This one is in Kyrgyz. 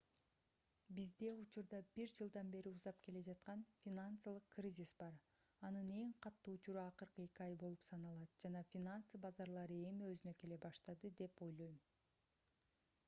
бизде учурда бир жылдан бери узап келе жаткан финансылык кризис бар анын эң катуу учуру акыркы эки ай болуп саналат жана финансы базарлары эми өзүнө келе баштады деп ойлойм